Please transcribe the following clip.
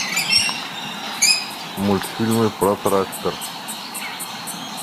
мультфильмы про трактор